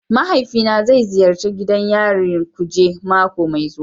Mahaifina zai ziyarci gidan yarin kuje mako mai zuwa.